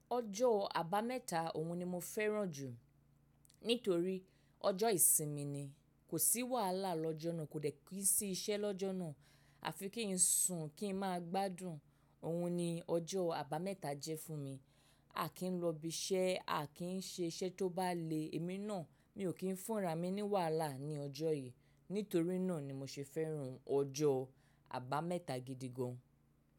Ọjọ́ àbámẹ́ta òun ni mo fẹ́ràn jù nítorí ọjọ́ ìsinmi ni. Kò sí wàhálà lọ́jọ́ náà, kò dẹ́ kìn sí iṣẹ́ lọ́jọ́ náà. A fi kì ńsùn kí ń máa gbádùn. Òun ni ọjọ́ àbámẹ́ta jẹ́ fún mi. A kì í lọ ibi iṣẹ́, a kì í ṣe iṣẹ́ tó bá le èmi náà, mi ò kí ń fún ra mi ní wàhálà ní ọjọ́ yen. Nítorí náà ni mo ṣe fẹ́ràn ọjọ́ àbámẹ́ta gidi gan.